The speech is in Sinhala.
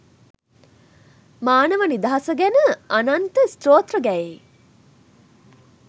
මානව නිදහස ගැන අනන්ත ස්තෝත්‍ර ගැයෙයි